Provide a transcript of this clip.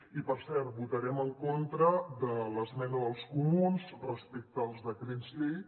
i per cert votarem en contra de l’esmena dels comuns respecte als decrets llei